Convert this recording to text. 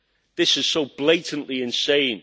This is so blatantly insane.